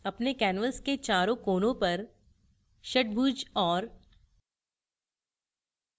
अपने कैनवास के चारों कोनों पर षट्भुज और